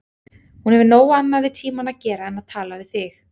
Hún hefur nóg annað við tímann að gera en tala við þig.